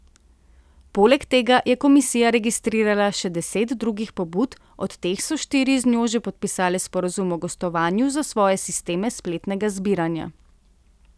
Poleg tega je komisija registrirala še deset drugih pobud, od teh so štiri z njo že podpisale sporazum o gostovanju za svoje sisteme spletnega zbiranja.